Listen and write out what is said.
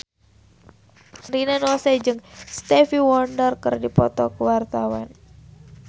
Rina Nose jeung Stevie Wonder keur dipoto ku wartawan